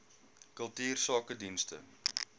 kultuursakedienste